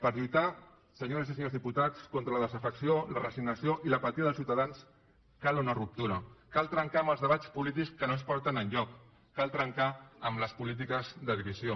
per lluitar senyores i senyors diputats contra la desafecció la resignació i l’apatia dels ciutadans cal una ruptura cal trencar amb els debats polítics que no ens porten enlloc cal trencar amb les polítiques de divisió